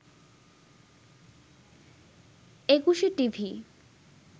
Ekushey TV